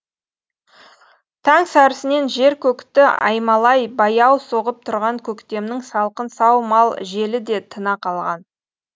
таң сәрісінен жер көкті аймалай баяу соғып тұрған көктемнің салқын сау мал желі де тына қалған